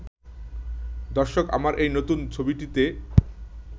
'দর্শক আমার এই নতুন ছবিটিতে